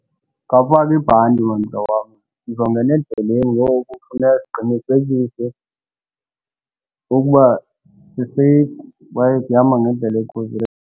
Khawufake ibhanti, man mhlobo wam, sizongena endleleni ngoku funeka siqinisekise ukuba siseyifu kwaye sihamba ngendlela ekhuselekileyo.